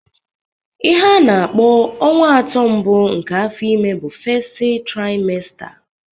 Ihe ana-akpọ ọnwa atọ mbụ nke afọ ime bụ festi traimesta